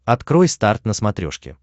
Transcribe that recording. открой старт на смотрешке